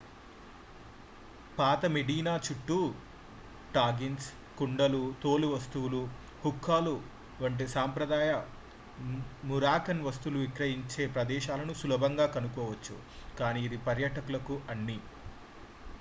పాత మెడీనా చుట్టూ టాగిన్స్ కుండలు తోలు వస్తువులు హుక్కాలు వంటి సంప్రదాయ మొరాకన్ వస్తువులు విక్రయించే ప్రదేశాలను సులభంగా కనుగొనవచ్చు కానీ ఇది పర్యాటకులకు అన్ని